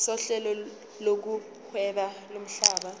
sohlelo lokuhweba lomhlaba